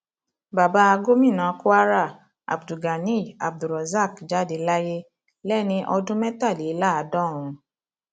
bàbá gomina kwara abdulganiyar abdulrosaq jáde láyé lẹni ọdún mẹtàléláàádọrùn